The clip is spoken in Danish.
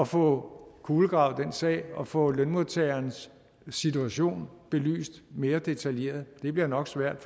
få kulegravet den sag og få lønmodtagerens situation belyst mere detaljeret det bliver nok svært